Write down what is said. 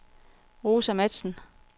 Rosa Matzen